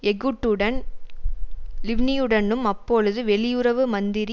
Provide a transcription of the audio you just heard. எகுட்டுடன் லிவ்னியுடனும் அப்பொழுது வெளியுறவு மந்திரி